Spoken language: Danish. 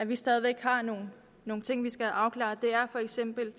vi stadig væk har nogle nogle ting vi skal have afklaret er for eksempel